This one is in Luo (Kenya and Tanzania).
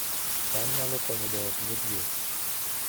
cham nyalo konyo joot modhier